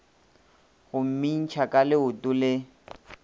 go mmintšha ka leoto le